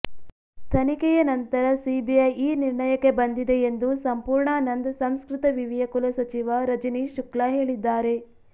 ತನಿಖೆಯ ನಂತರ ಸಿಬಿಐ ಈ ನಿರ್ಣಯಕ್ಕೆ ಬಂದಿದೆ ಎಂದು ಸಂಪೂರ್ಣಾ ನಂದ್ ಸಂಸ್ಕೃತ ವಿವಿಯ ಕುಲಸಚಿವ ರಜನೀಶ್ ಶುಕ್ಲ ಹೇಳಿದ್ದಾರೆ